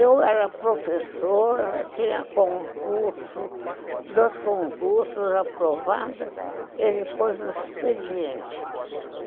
Eu era professora, tinha concurso, dois concursos aprovados, ele pôs no expediente.